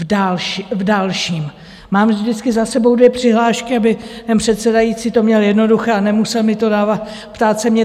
V dalším mám vždycky za sebou dvě přihlášky, aby ten předsedající to měl jednoduché a nemusel mi to dávat, ptát se mě.